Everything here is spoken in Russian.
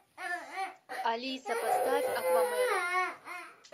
алиса поставь аквамена